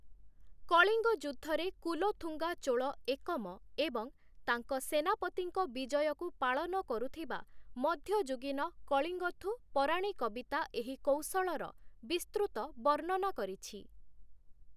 କଳିଙ୍ଗ ଯୁଦ୍ଧରେ କୁଲୋଥୁଙ୍ଗା ଚୋଳ ଏକମ ଏବଂ ତାଙ୍କ ସେନାପତିଙ୍କ ବିଜୟକୁ ପାଳନ କରୁଥିବା ମଧ୍ୟଯୁଗୀନ କଳିଙ୍ଗଥୁ ପରାଣୀ କବିତା ଏହି କୌଶଳର ବିସ୍ତୃତ ବର୍ଣ୍ଣନା କରିଛି ।